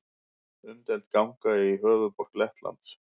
Umdeild ganga í höfuðborg Lettlands